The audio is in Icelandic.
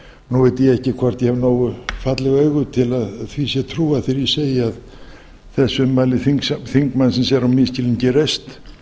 veit ég ekki hvort ég hef nógu falleg augu til að því sé trúað þegar ég segi að þessi ummæli þingmannsins eru á misskilningi reist